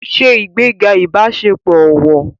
Ṣe ìgbéga ìbáṣepọ̀ ọ̀wọ̀